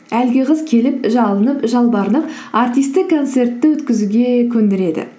әлгі қыз келіп жалынып жалбарынып әртісті концертті өткізуге көндіреді